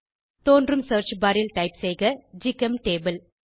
தோன்றும் search bar ல் type செய்க ஜிசெம்டபிள்